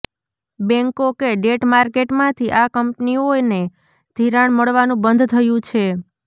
બેન્કો કે ડેટ માર્કેટમાંથી આ કંપનીઓને ધિરાણ મળવાનું બંધ થયું છે